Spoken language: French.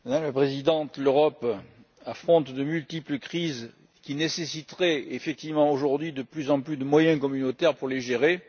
Madame la Présidente, l'Europe affronte de multiples crises qui nécessiteraient effectivement aujourd'hui de plus en plus de moyens communautaires pour les gérer.